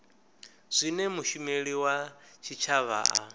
zwine mushumeli wa tshitshavha a